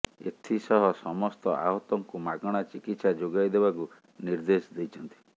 ଏଥିସହ ସମସ୍ତ ଆହତଙ୍କୁ ମାଗଣା ଚିକିତ୍ସା ଯୋଗାଇ ଦେବାକୁ ନିର୍ଦ୍ଦେଶ ଦେଇଛନ୍ତି